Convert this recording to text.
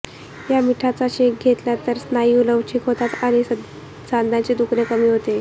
या मिठाचा शेक घेतला तर स्नायू लवचिक होतात आणि सांध्याचे दुखणे कमी होते